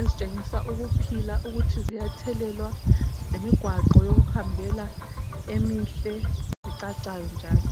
ezitshengisa ukuphila, ukuthi ziyathelelwa lemigwaqo yokuhambela emihle ecacayo njalo.